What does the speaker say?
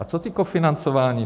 A co to kofinancování?